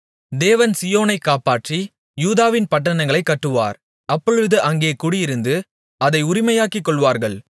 தேவன் சீயோனைக் காப்பாற்றி யூதாவின் பட்டணங்களைக் கட்டுவார் அப்பொழுது அங்கே குடியிருந்து அதை உரிமையாக்கிக்கொள்வார்கள்